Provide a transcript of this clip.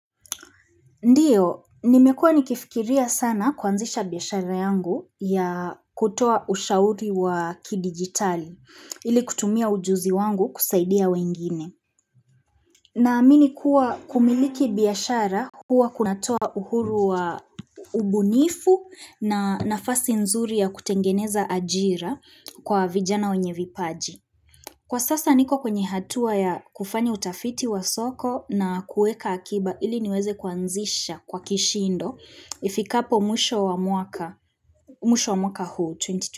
Ndiyo, nimekua nikifikiria sana kuanzisha biashara yangu ya kutoa ushauri wa kidigitali, ili kutumia ujuzi wangu kusaidia wengine. Naamini kuwa kumiliki biashara huwa kunatoa uhuru wa ubunifu na nafasi nzuri ya kutengeneza ajira kwa vijana wenye vipaji. Kwa sasa niko kwenye hatua ya kufanya utafiti wa soko na kuweka akiba ili niweze kwa nzisha kwa kishindo ifikapo mwisho wa mwaka huu 22.